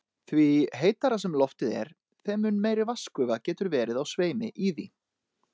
Því heitara sem loftið er, þeim mun meiri vatnsgufa getur verið á sveimi í því.